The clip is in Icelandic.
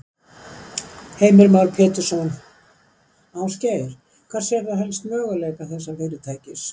Heimir Már Pétursson: Ásgeir, hvar sérðu helst möguleika þessa fyrirtækis?